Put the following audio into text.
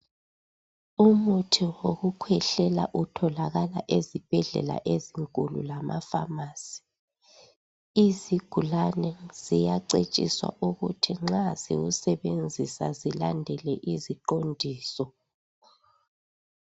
Umuthi wokukhwehlela utholakala ezibhedlela ezinkulu lamaphamarcy. Izigulane ziyacetshiswa ukuthi nxa ziwusebenzisa zilandele iziqondiso.